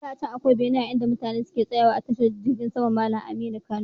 Da can akwai bene inda mutane suke tsawa a tashar jirgin sama Malam Aminu Kano.